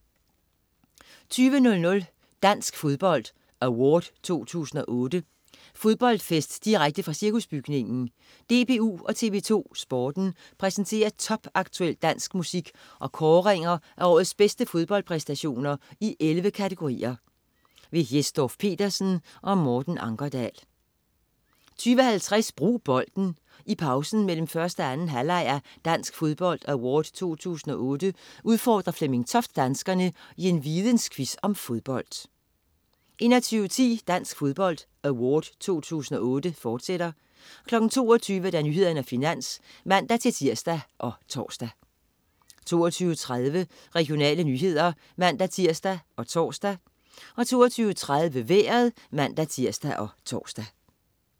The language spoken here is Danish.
20.00 Dansk Fodbold Award 2008. Fodboldfest direkte fra Cirkusbygningen. DBU og TV 2 Sporten præsenterer topaktuel dansk musik og kåringer af årets bedste fodboldpræstationer i 11 kategorier. Jes Dorph-Petersen og Morten Ankerdal 20.50 Brug Bolden. I pausen mellem 1. og 2. halvleg af "Dansk Fodbold Award 2008" udfordrer Flemming Toft danskerne i en vidensquiz om fodbold 21.10 Dansk Fodbold Award 2008, fortsat 22.00 Nyhederne og Finans (man-tirs og tors) 22.20 Regionale nyheder (man-tirs og tors) 22.30 Vejret (man-tirs og tors)